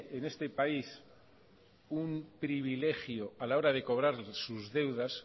en este país un privilegio a la hora de cobrar sus deudas